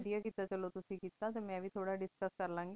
ਨੀ ਵਾਦੇਯਾ ਕੀਤਾ ਚਲੋ ਤੁਸੀਂ ਕੀਤਾ ਮਨ ਵੇ ਥੋਰਾ discuss